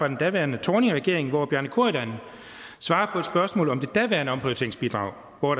den daværende thorningregering hvor bjarne corydon svarer på et spørgsmål om det daværende omprioriteringsbidrag og